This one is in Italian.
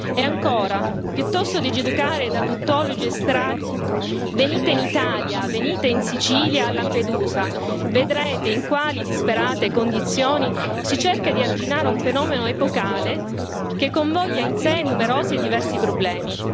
E ancora, piuttosto di giudicare da tuttologi estranei, venite in Italia, venite in Sicilia, a Lampedusa, vedrete in quali disperate condizioni si cerca di arginare un fenomeno epocale che convoglia in sé numerosi e diversi problemi.